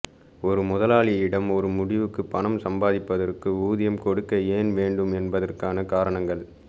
ஒரு முதலாளியிடம் ஒரு முடிவுக்கு பணம் சம்பாதிப்பதற்கு ஊதியம் கொடுக்க ஏன் வேண்டும் என்பதற்கான காரணங்கள்